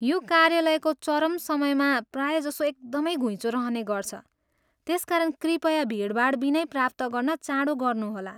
यो कार्यालयको चरम समयमा प्रायःजसो एकदमै घुइँचो रहने गर्छ, त्यसकारण कृपया भिडभाड बिनै प्राप्त गर्न चाँडो गर्नुहोला।